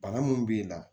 Bana mun b'e la